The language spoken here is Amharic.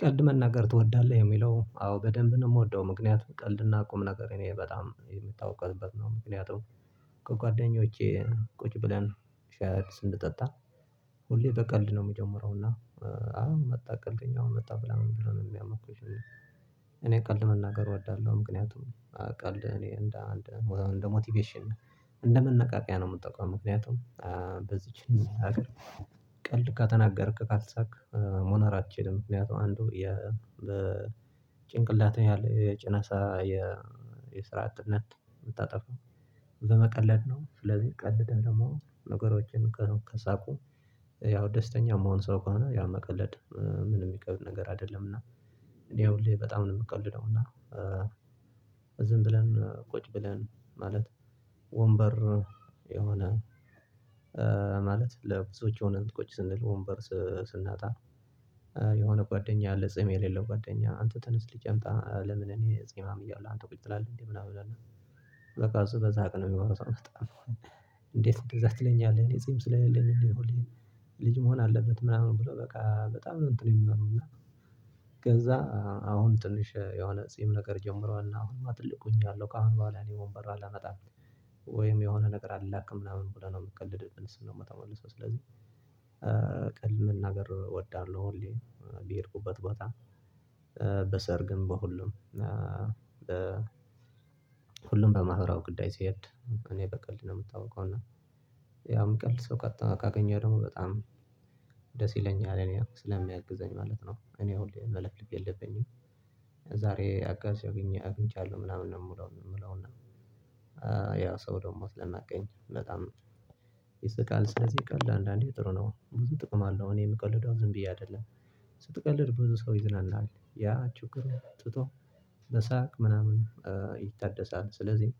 ቀልድ መናገር ትወዳለህ? ሚለው አዎ በደንብ ነው የምወደው። ምክንያቱም ቀልድና ቁም ነገር እኔ በጣም የምታወቀውበት ነው። ምክንያቱም ከጓደኞቼ ቁጭ ብለን ሽይ ስንጠጠጣ ሁሌ በቀልድ ነው የምጀምረው። እና አው መጣ ቀልደኛው መጣ ብላ ምን ብሎ ነው የሚያሞግሱኝ እኔ ቀልድ መናገር እወዳለሁ ምክንያቱም ቀልድ እኔ እንደ እንደ እንደ ሞቲቬሽን እንደ መነቃቂያ ነው የምጠቀመው ምክንያቱም በዚህች ሀግር ሀገር ቀልድ ከተናገርክ ካሳክ መኖር አትችልም ምክንያቱም አንዱ የ ጭንቅላት ነው። ያለው የጭነሳ የ የስራ አጥነት የምታጠፋው በመቀለድ ነው ስለዚህ ቀልደን ደሞ ነገሮችን ከሳቁ ያው ደስተኛ የምሆን ሰው ከሆነ ያው መቀለድ ምንም የሚከብድ ነገር አይደለም እና እኔ ሁሌ በጣም ነው የምቀልደው እና ዝም ብለን ቁጭ ብለን ማለት ወንበር የሆነ ማለት ለብዙዎች ሆነን ቁጭ ስንል ወንበር ስናጣ የሆነ ጓደኛ አለ ጺም የሌለው ጓደኛ አንተ ተነስ ሂድ አምጣ ለምን እኔ ጺማም እያለሁ አንተ ቁጭ ትላለህ እንዴ ምናምን ይለናል በቃ እሱ በዛ ቀን ነው የሚሆነው እንዴት እንደዛ ትለኛለህ እኔ ጺም ስለሌለኝ እንዴ ልጅ መሆን አለበት ምናምን ብሎ በቃ በጣም ነው የምንለው እና ከዛ አሁን ትንሽ የሆነ ጺም ነገር ጀምረዋል አሁንማ ትልቅ ሁኛለሁ ከአሁን በኋላ እኔ ወንበር አላመጣም። ወይም የሆነ ነገር አልላክም ምናምን ብለን ነው የምቀልድ ስንመጣ መልሰው ስለዚህ ቃል መናገር እወዳለሁ ሁሌ በሄድኩበት በጣም በሰርግም በሁሉም ሁሉም በማህበራው ጉዳይ ሲሄድ እኔ በቀልድ ነው የምታውቀው እና ያውም ሚቀልድ ሰው ቀጥታ ካገኘሁ ደግሞ በጣም ደስ ይለኛል እኔ ስለሚያግዘኝ ማለት ነው እኔ አሁን መለፍለፍ የለብኝም ዛሬ አጋዥ አግኝቻለሁ ምናምን ነው የምለው። የምለው እና ያ ሰው ደግሞ ስለሚያቀኝ በጣም ይስቃል ስለዚህ ቀልድ አንዳንዴ ጥሩ ነው። ብዙ ጥቅም አለው እኔ የምቀልደው ዝም ብዬ አይደለም። ስትቀልድ ብዙ ሰው ይዝዝናናል። ያ ችግሩን ትቶ በሳቅ ምናምን ይታደሳል። ስለዚህ